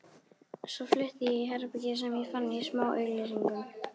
Svo flutti ég í herbergi sem ég fann í smáauglýsingunum.